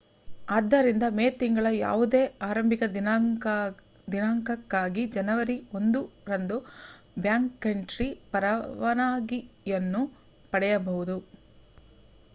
ಆದ್ದರಿಂದ ಮೇ ತಿಂಗಳ ಯಾವುದೇ ಆರಂಭಿಕ ದಿನಾಂಕಕ್ಕಾಗಿ ಜನವರಿ 1 ರಂದು ಬ್ಯಾಕ್‌ಕಂಟ್ರಿ ಪರವಾನಗಿಯನ್ನು ಪಡೆಯಬಹುದು